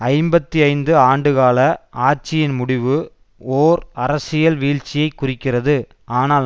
ஐம்பத்தி ஐந்துஆண்டு கால ஆட்சியின் முடிவு ஓர் அரசியல் வீழ்ச்சியைக் குறிக்கிறது ஆனால்